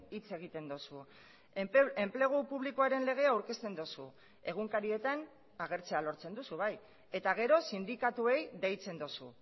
hitz egiten duzu enplegu publikoaren legea aurkezten duzu egunkarietan agertzea lortzen duzu bai eta gero sindikatuei deitzen duzu